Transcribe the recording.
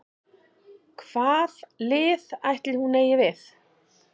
Hvað lið ætli hún eigi við?